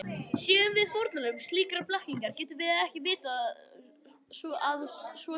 Séum við fórnarlömb slíkrar blekkingar getum við því ekki vitað að svo sé.